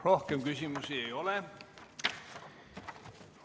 Rohkem küsimusi ei ole.